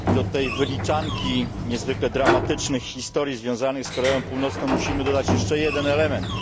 Do tej wyliczanki niezwykle dramatycznych historii związanych z Koreą Północną musimy dodać jeszcze jeden element.